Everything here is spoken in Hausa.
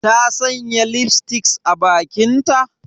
Ta sanya lipstick a bakinta?